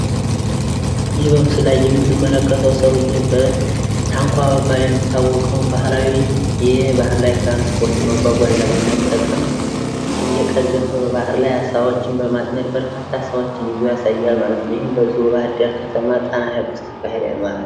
የሥራ አመራር ጥበብ የሰራተኞችን አቅም በአግባቡ በመጠቀም የድርጅትን ግቦች ለማሳካት ወሳኝ ሚና ይጫወታል።